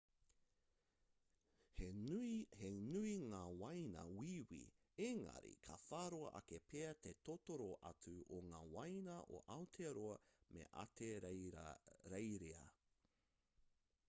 he nui ngā waina wīwī engari ka whāroa ake pea te totoro atu o ngā waina a aotearoa me ahitereiria